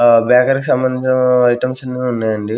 ఆ బేకారి సంబంధించిన ఐటమ్స్ అన్ని ఉన్నాయి అంది.